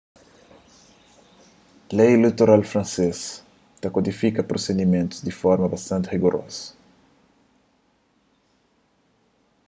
lei ileitoral fransês ta kodifika prosidimentus di forma bastanti rigurozu